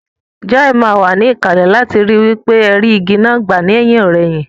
Joy má wa níkàlè láti ri wípé ẹ rí igi náà gbà lẹ́hìnọ̀rẹhìn